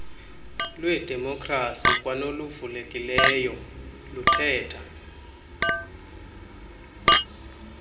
lwedemokrasi kwanoluvulekileyo luthetha